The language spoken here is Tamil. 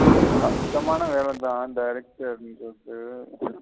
கஷ்டமான வேலத director ன்டறது.